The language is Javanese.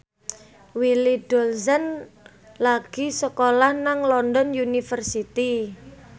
Willy Dozan lagi sekolah nang London University